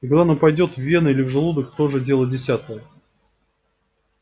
и куда она пойдёт в вены или в желудок тоже дело десятое